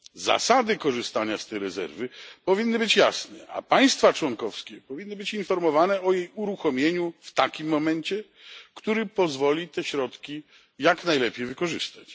Zasady korzystania z tej rezerwy powinny być jasne, a państwa członkowskie powinny być informowane o jej uruchomieniu w takim momencie, który pozwoli te środki jak najlepiej wykorzystać.